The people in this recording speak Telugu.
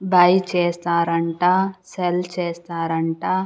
బై చేస్తారంట సెల్ చేస్తారంట.